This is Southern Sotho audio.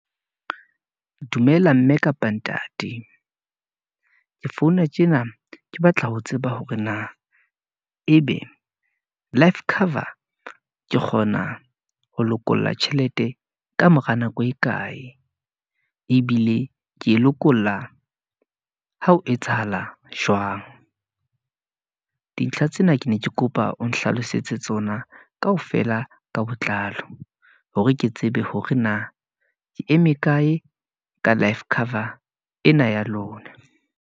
Dumela mme kapa ntate , ke founa tjena ke batla ho tseba hore na, ebe life cover ke kgona ho lokolla tjhelete ka mora nako e kae, ebile ke e lokolla ha ho etsahala jwang . Dintlha tsena ke ne ke kopa o nhlalosetse tsona, kaofela ka botlalo, hore ke tsebe hore na ke eme kae, ka life cover ena ya lona.